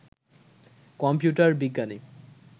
computer বিজ্ঞানী